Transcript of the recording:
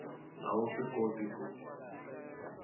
a wu swi koti ku